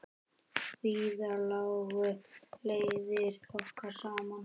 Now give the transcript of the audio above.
Víðar lágu leiðir okkar saman.